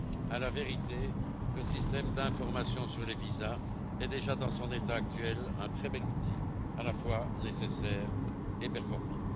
À la vérité, le système d'information sur les visas est déjà, dans son état actuel, un très bel outil, à la fois nécessaire et performant.